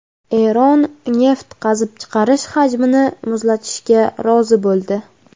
Eron neft qazib chiqarish hajmini muzlatishga rozi bo‘ldi.